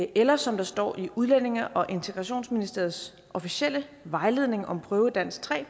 eller som der står i udlændinge og integrationsministeriets officielle vejledning om prøve i dansk tre og